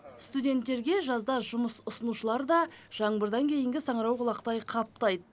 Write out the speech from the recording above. студенттерге жазда жұмыс ұсынушылар да жаңбырдан кейінгі саңырауқұлақтай қаптайды